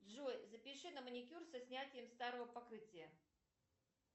джой запиши на маникюр со снятием старого покрытия